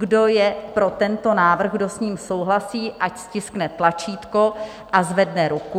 Kdo je pro tento návrh, kdo s ním souhlasí, ať stiskne tlačítko a zvedne ruku.